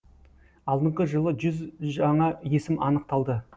алдыңғы жылы жүз жаңа есім анықталды